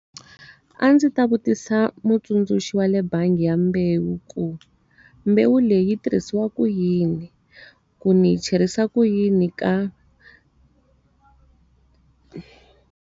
A ndzi ta vutisa mutsundzuxi wa le bangi ya mbewu ku, mbewu leyi tirhisiwaka yini? Ku ndzi hi cherisa ku yini ka.